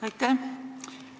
Aitäh!